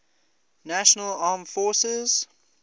national armed forces